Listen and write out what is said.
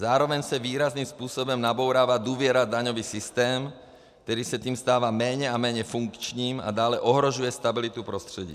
Zároveň se výrazným způsobem nabourává důvěra v daňový systém, který se tím stává méně a méně funkčním a dále ohrožuje stabilitu prostředí.